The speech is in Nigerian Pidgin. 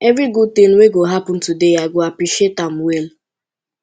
evri gud tin wey go happen today i go appreciate am well